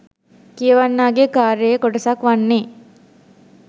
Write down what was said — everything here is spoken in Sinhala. කියවන්නාගේ කාර්යයේ කොටසක් වන්නේ